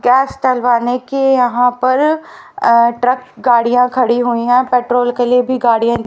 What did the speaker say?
gas डलवाने की यहां पर अह ट्रक गाड़ियां खड़ी हुई हैं पेट्रोल के लिए भी गाड़ियां--